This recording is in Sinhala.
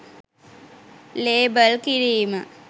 ලේබල් කිරීම